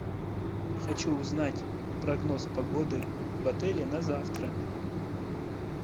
хочу узнать прогноз погоды в отеле на завтра